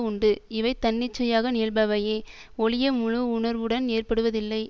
உண்டு இவை தன்னிச்சையாக நிகழ்பவையே ஒழிய முழு உணர்வுடன் ஏற்படுவதில்லை